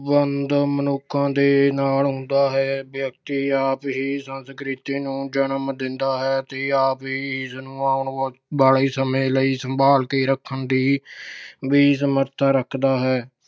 ਸਬੰਧ ਮਨੁੱਖਾਂ ਦੇ ਨਾਲ ਹੁੰਦਾ ਹੈ। ਵਿਅਕਤੀ ਆਪ ਹੀ ਸੰਸਕ੍ਰਿਤੀ ਨੂੰ ਜਨਮ ਦਿੰਦਾ ਹੈ ਤੇ ਆਪ ਹੀ ਇਸ ਨੂੰ ਆਉਣ ਵਾਲੇ ਸਮੇਂ ਲਈ ਸੰਭਾਲ ਕੇ ਰੱਖਣ ਦੇ ਵੀ ਸਮਰਥਾ ਰੱਖਦਾ ਹੈ।